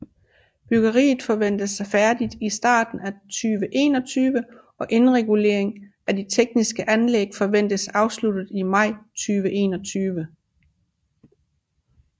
Byggeriet forventes færdigt i starten af 2021 og indregulering af de tekniske anlæg forventes afsluttet i maj 2021